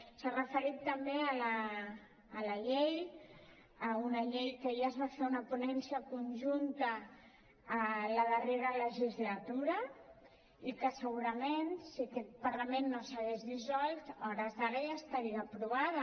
s’ha referit també a la llei a una llei de la qual ja es va fer una ponència conjunta a la darrera legislatura i que segurament si aquest parlament no s’hagués dissolt a hores d’ara ja estaria aprovada